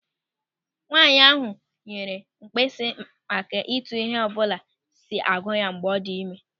Nwaanyị ahụ nyere mkpesa maka etu ịhe ọbụla si agụ ya mgbe ọ dị ịme.